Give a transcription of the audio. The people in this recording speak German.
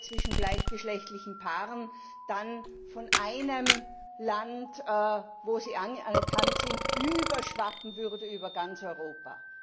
die Ehe zwischen gleichgeschlechtlichen Paaren dann von einem Land, wo sie anerkannt ist, überschwappen würde auf ganz Europa.